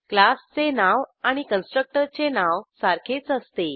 क्लासचे नाव आणि कन्स्ट्रक्टरचे नाव सारखेच असते